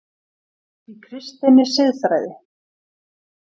Í KRISTINNI SIÐFRÆÐI